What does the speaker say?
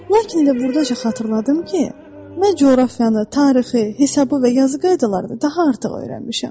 Lakin birdən mənə bir şey xatırladım ki, mən coğrafiyanı, tarixi, hesabı və yazı qaydalarını daha artıq öyrənmişəm.